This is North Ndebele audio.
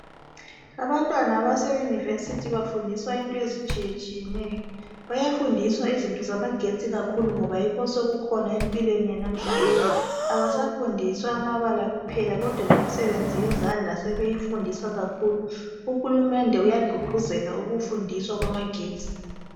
Abantwana abase university bafundiswa into ezitshiye tshiyeneyo bayafundiswa izinto zamagetsi kakhulu ngoba yikho osokukhona empilweni yanamuhla abasafundiswa amabala kuphela kodwa lemisebenzi yezandla sebeyi afundiswa kakhulu, uhulumende uyagqugquzela ukufundiswa kwama getsi.